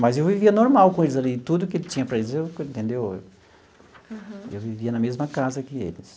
Mas eu vivia normal com eles ali, tudo que tinha para eles, eu entendeu eu vivia na mesma casa que eles.